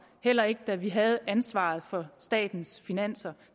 heller ikke da vi havde ansvaret for statens finanser